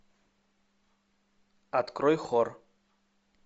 открой хор